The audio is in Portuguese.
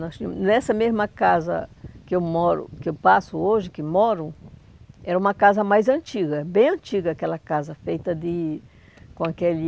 Nós tínhamos, nessa mesma casa que eu moro, que eu passo hoje, que moro, era uma casa mais antiga, bem antiga aquela casa, feita de com aquele...